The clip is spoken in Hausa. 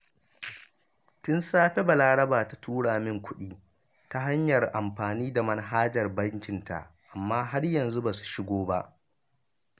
Tun safe Balaraba ta tura min kuɗi ta hanyar amfani da manhajar bankinta, amma har yanzu ba su shigo ba